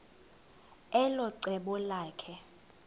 elo cebo lakhe